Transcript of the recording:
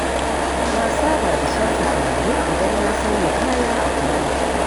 Na saba da shafa turare idan na sauya kaya a kullum.